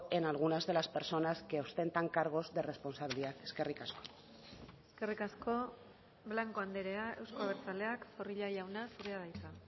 en algunas de las personas que ostentan cargos de responsabilidad eskerrik asko eskerrik asko blanco andrea euzko abertzaleak zorrilla jauna zurea da hitza